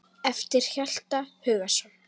eftir Hjalta Hugason